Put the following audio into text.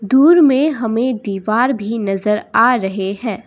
दूर में हमें दीवार भी नजर आ रहे हैं।